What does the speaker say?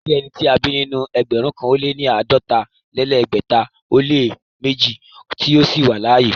Kò sí ẹnì tí a bí nínú ẹgbẹ̀rún kan ó lẹ́ àádọ́ta-lé-lẹ́gbẹ̀ta ó lẹ́ méjì tí ó ṣì wà láàyè.